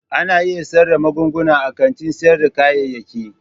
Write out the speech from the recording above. Ana iya siyar da magunguna a kantin sayar da kayayyaki.